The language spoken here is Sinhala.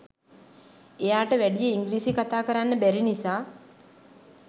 එයාට වැඩිය ඉංග්‍රීසි කතා කරන්න බැරි නිසා